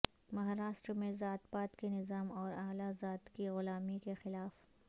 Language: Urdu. مہاراشٹر میں ذات پات کے نظام اور اعلی ذات کی غلامی کے خلاف